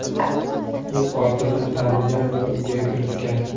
U qotilni tanigan va uyga kiritgan.